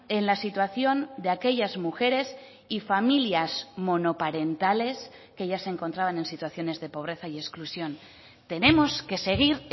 en la situación de aquellas mujeres y familias monoparentales que ya se encontraban en situaciones de pobreza y exclusión tenemos que seguir